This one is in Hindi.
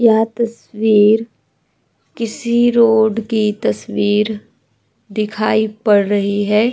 यहाँ तस्वीर किसी रोड की तस्वीर दिखाई पड़ रही है।